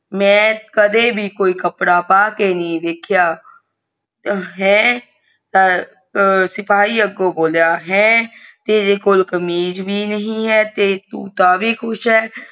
ਮੈਂ ਕਦੇ ਵੰ ਕੋਈ ਵੀ ਕਪੜਾ ਕੇ ਨਹੀਂ ਵੇਖਿਆ ਸਿਪਾਹੀ ਅੱਗੋਂ ਬੋਲਾ ਕੋਈ ਕੋ ਕਮੀਜ ਵੀ ਨਹੀਂ ਹੈ ਤੁ ਤਾਂ ਵੀ ਖੁਸ ਅ।